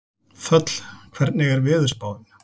Þöll, hvernig er veðurspáin?